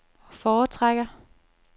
foretrækker